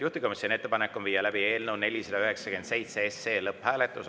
Juhtivkomisjoni ettepanek on viia läbi eelnõu 497 lõpphääletus.